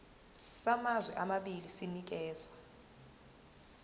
samazwe amabili sinikezwa